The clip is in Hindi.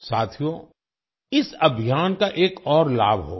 साथियो इस अभियान का एक और लाभ होगा